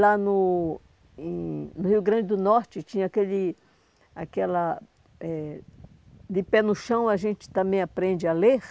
Lá no em no Rio Grande do Norte tinha aquele... Aquela... eh, De pé no chão a gente também aprende a ler.